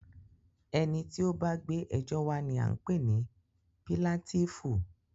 Ẹni tí o bá gbé ẹjọ́ wa ní a ń pé ní píláǹtìífú.